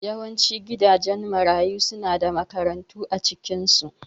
Yawancin gidajen marayu suna da makarantu a cikinsu